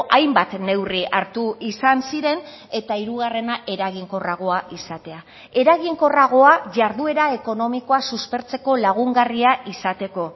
hainbat neurri hartu izan ziren eta hirugarrena eraginkorragoa izatea eraginkorragoa jarduera ekonomikoa suspertzeko lagungarria izateko